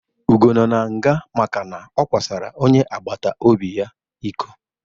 Ugo no n'nga makana ọ kwasara onye agbatobi ya ịkọ